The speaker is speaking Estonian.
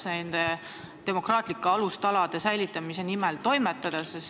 Kuidas ikkagi saaks demokraatia alustalasid kaitsta?